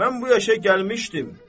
Mən bu yaşa gəlmişdim.